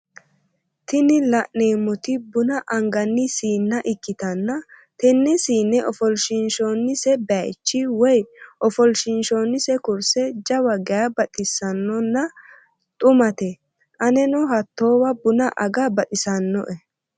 Tini la'neemoti buna angani siine ikkitanna tenne siine ofolshiinshhonise bayiichi woye ofolshiinshoonise kurse jawa geya baxissannonna dhumate aneno hattowa buna aga baxisanno"e.